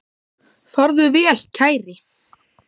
Farðu vel, kæri.